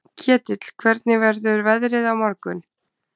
Ketill, hvernig verður veðrið á morgun?